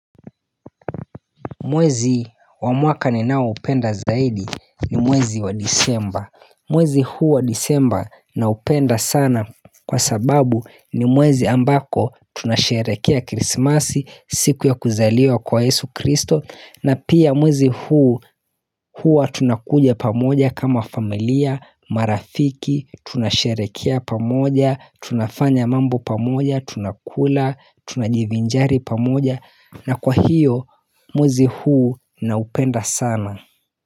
Mwezi wa mwaka ninao upenda zaidi ni mwezi wa disemba mwezi huu wa disemba na upenda sana kwa sababu ni mwezi ambako tunasherekea krismasi siku ya kuzaliwa kwa Yesu Kristo na pia mwezi huu hua tunakuja pamoja kama familia, marafiki, tunasherekea pamoja, tunafanya mambo pamoja, tunakula, tunajivinjari pamoja na kwa hiyo mwezi huu na upenda sana.